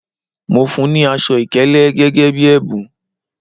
Mo fún ní aṣọ ìkélé gẹ́gẹ́ bí ẹ̀bùn